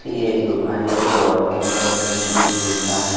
ये एक दुकान है जो ऑटो मोबाइल का का है।